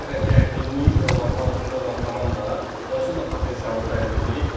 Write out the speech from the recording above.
Bu qədər gərginliyi olan, altında olan komanda onsuz da potensialı bəllidir.